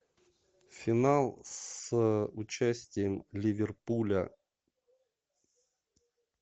финал с участием ливерпуля